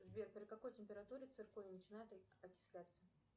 сбер при какой температуре цирконий начинает окисляться